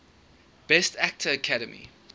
best actor academy